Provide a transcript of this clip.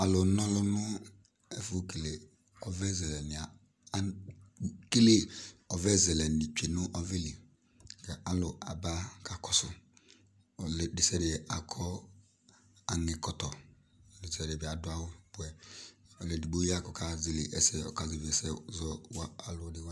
alɔnɔlɔ nu ɛfɔkɛlɔ ɔvɛzɛlɛ kɛlɛ kʊ alɔabakakɔsu ɔludɛsẹadɛ ku anikɔtɔ awɔbɛ ɔlɔɛdikpɔwa kʊ akazalɛ